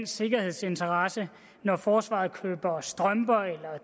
sikkerhedsinteresser når forsvaret køber strømper eller